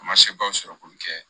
A ma sebaw sɔrɔ k'olu kɛ